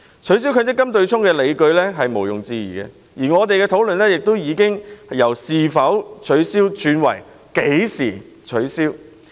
取消強積金對沖機制的理據是毋庸置疑的，我們的討論焦點亦已由"是否取消"轉為"何時取消"。